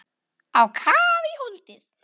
Á kaf í holdið.